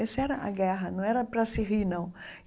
Essa era a guerra, não era para se rir, não.